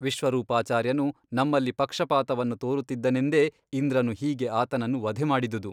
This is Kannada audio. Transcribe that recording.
ವಿಶ್ವರೂಪಾಚಾರ್ಯನು ನಮ್ಮಲ್ಲಿ ಪಕ್ಷಪಾತವನ್ನು ತೋರಿಸುತ್ತಿದ್ದನೆಂದೇ ಇಂದ್ರನು ಹೀಗೆ ಆತನನ್ನು ವಧೆ ಮಾಡಿದುದು.